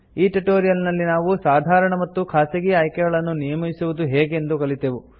ಈ ಟ್ಯುಟೋರಿಯಲ್ ನಲ್ಲಿ ನಾವು ಸಾಧಾರಣ ಮತ್ತು ಖಾಸಗಿ ಆಯ್ಕೆಗಳನ್ನು ನಿಯಮಿಸುವುದು ಹೇಗೆಂದು ಕಲಿತೆವು